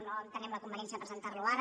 no entenem la conveniència de presentar lo ara